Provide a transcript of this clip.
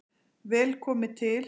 Vel komi til